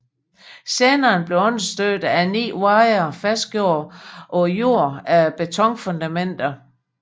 Senderen bliver understøttet af 9 wirer fastgjort på jorden af betonfundamenter